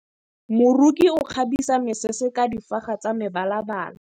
Moroki o kgabisa mesese ka difaga tsa mebalabala.